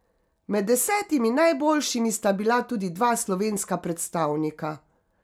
Med desetimi najboljšimi sta bila tudi dva slovenska predstavnika.